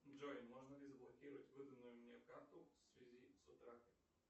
джой можно ли заблокировать выданную мне карту в связи с утратой